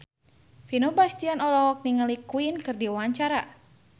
Vino Bastian olohok ningali Queen keur diwawancara